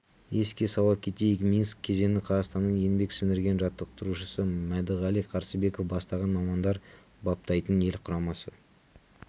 еске сала кетейік минск кезеңі қазақстанның еңбек сіңірген жаттықтырушысы мәдіғали қарсыбеков бастаған мамандар баптайтын ел құрамасы